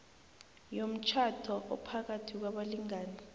yomtjhado ophakathi kwabalingani